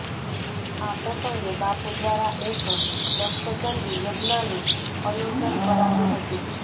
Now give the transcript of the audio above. આ પ્રસંગે બાપુ દ્વારા એક લક્ષચંડી યજ્ઞાનું અયોજન કરાયુ હતુ